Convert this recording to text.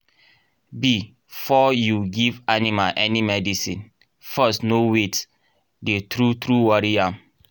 be for you give animal any medicine first know weyth dey true true worry am